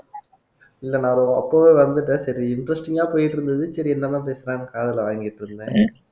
இல்ல நான் அப்பவே வந்துட்டேன் சரி interesting ஆ போயிட்டு இருந்தது சரி என்னதான் பேசுறான்னு காதுல வாங்கிட்டு இருந்தேன்